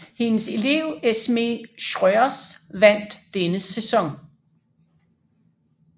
Hendes elev Esmée Schreurs vandt denne sæson